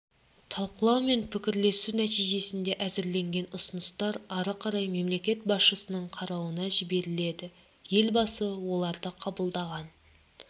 талқылау мен пікірлесу нәтижесінде әзірленген ұсыныстар ары қарай мемлекет басшысының қарауына жіберіледі елбасы оларды қабылдаған